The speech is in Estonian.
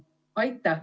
Aitäh!